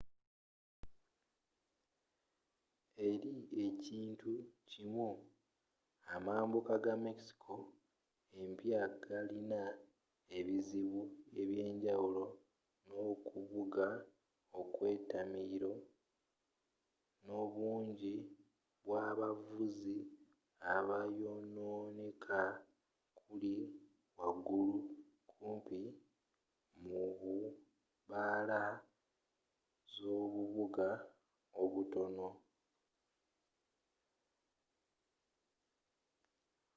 eri ekintu kimu amambuka ga mexico empya galina ebizibu eby'enjawulo nokuvuga okw'etamiiro n'obungi bw'abavuzi abayononeeka kuli wagulu kumpi mu bu bbaala zobubuga obutono